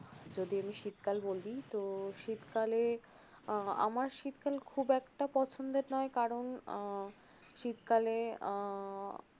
আর যদি আমি শীতকাল বলি তো শীতকালে আহ আমার শীতকাল খুব একটা পছন্দের নয় কারন আহ শীতকালে আহ